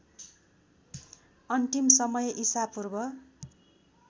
अन्तिम समय ईशापूर्व